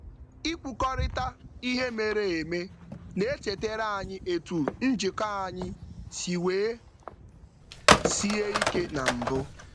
Ikwukọrịta ihe mere eme na-echetara anyị etu njikọ anyị si wee sie ike na mbụ.